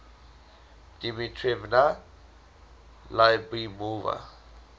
dmitrevna lyubimova